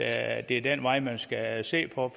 at det er den vej man skal se på